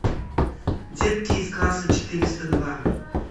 детки из класса четыреста два